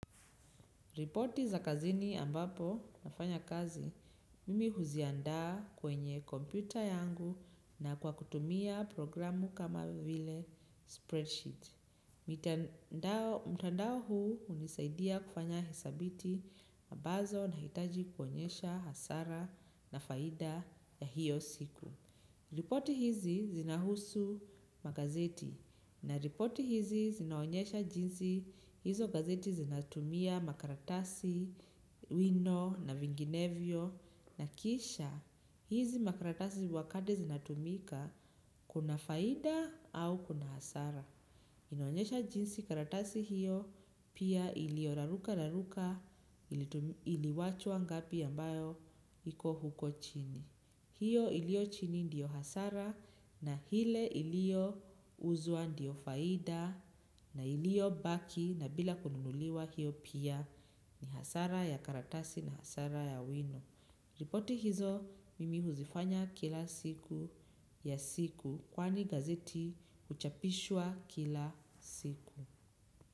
Ripoti za kazini ambapo nafanya kazi, mimi huziandaa kwenye kompyuta yangu na kwa kutumia programu kama vile spreadsheet. Mtandao huu hunisaidia kufanya hisabati ambazo nahitaji kuonyesha hasara na faida ya hiyo siku. Ripoti hizi zinahusu magazeti na ripoti hizi zinaonyesha jinsi hizo gazeti zinatumia makaratasi wino na vinginevyo na kisha hizi makaratasi wakati zinatumika kuna faida au kuna hasara. Inoanyesha jinsi karatasi hiyo pia ilio raruka raruka ili wachwa ngapi ambayo iko huko chini. Hiyo iliyo chini ndio hasara na ile ilio uzwa ndio faida na iliyo baki na bila kununuliwa hiyo pia ni hasara ya karatasi na hasara ya wino. Ripoti hizo mimi huzifanya kila siku ya siku kwani gazeti huchapishwa kila siku.